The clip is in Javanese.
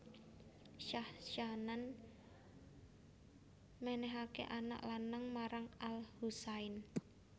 Syahzanan menehake anak lanang marang al Husain